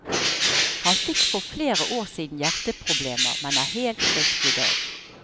Han fikk for flere år siden hjerteproblemer, men er helt frisk i dag.